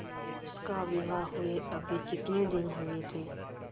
उसका विवाह हुए अभी कितने दिन हुए थे